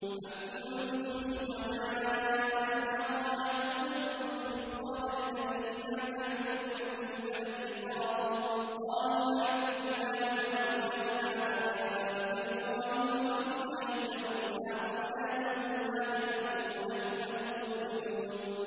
أَمْ كُنتُمْ شُهَدَاءَ إِذْ حَضَرَ يَعْقُوبَ الْمَوْتُ إِذْ قَالَ لِبَنِيهِ مَا تَعْبُدُونَ مِن بَعْدِي قَالُوا نَعْبُدُ إِلَٰهَكَ وَإِلَٰهَ آبَائِكَ إِبْرَاهِيمَ وَإِسْمَاعِيلَ وَإِسْحَاقَ إِلَٰهًا وَاحِدًا وَنَحْنُ لَهُ مُسْلِمُونَ